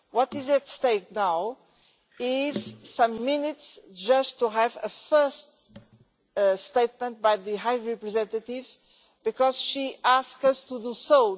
What is at stake now is some minutes just to have a first statement by the High Representative because she asks us to do so.